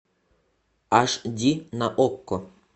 аш ди на окко